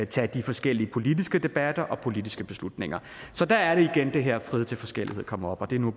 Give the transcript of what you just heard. tage de forskellige politiske debatter og politiske beslutninger så der er det igen at det her frihed til forskellighed kommer op og det er nu